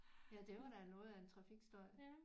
Ja der var da noget af en trafikstøj